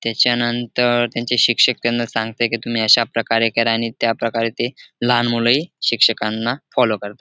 त्याच्यानंतर त्यांचे शिक्षक त्यांना सांगताहेत की तुम्ही अशा प्रकारे करा आणि त्या प्रकारे ते लहान मुलेही शिक्षकांना फॉलो करतात.